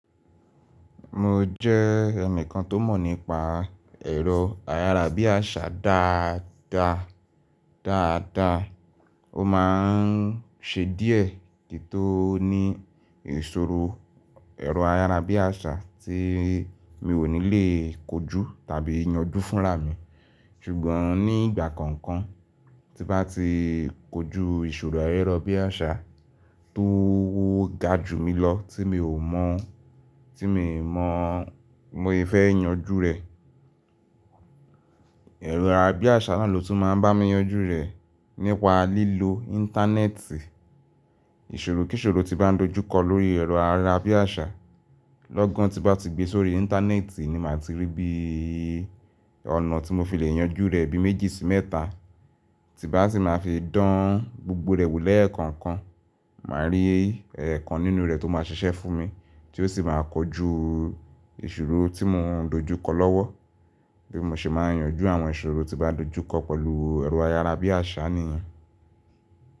Mo jẹ́ ení kan tó mọ̀ nípa ẹ̀rọ ayára bí àṣá dáadáa. Ó máa ń ṣe díẹ̀ kí tó ní ìṣòro ẹ̀rọ ayára bí àṣá tí mi ò ní lè kojú tàbí yanjú fúnra mi. Sùgbọ́n nígbà konkan tí n bá ti kojú ìṣòro ayarabíàṣá tó ga ju mi lọ tí mi ò mọ̀, tí mi mọ̀ mo se fẹ́ yanjú rẹ̀. Erọ ayára bí àṣá náà ló tún máa ń bá mi yanjú rẹ̀ nípa lílo íńtánẹ́ẹ̀tì. Ìṣòro kíṣòro tí n bá dojú kọ lórí ẹ̀rọ ayára bí àṣá, lọ́gán tí n bá ti gbe sórí íńtánẹ́ẹ̀tì ni màá ti rí bí ọ̀nà tí mo fi le yanjú rẹ̀ bí méjì sí mẹ́ta. Tí n bá sì máa fi dán gbogbo rẹ̀ wò lẹ́ẹ̀kọ̀kan, màá rí ikan nínú rẹ̀ tó máa ṣiṣẹ́ fún mi tí ó sì máa kojú ìṣòro tí mò ń dojú kọ lọ́wọ́ bí mo ṣe máa yanjú àwọn ìṣòro tí n bá dojú kọ pẹ̀lú ẹ̀rọ ayára bí àṣá nìyẹn.